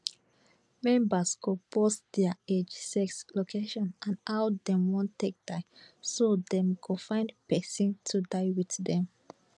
members go post dia age sex location and how dem wan take die so dem go find pesin to die wit dem